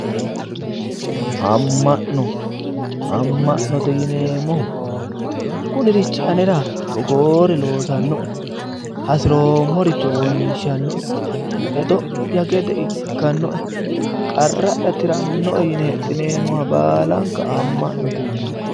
Amma'no. Amma'note yineemmohu kunirichi anera togoore loosannoe hasiroommoricho wonshannoe hedo'ya gede ikkannoe qarra'ya tirannoe yine hexxineemmoha baalanka amma'note yinanni.